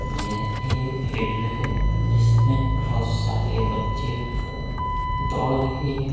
यह एक फील्ड है जिसमें बोहोत सारे बच्चे ख दौड़ रहे हैं।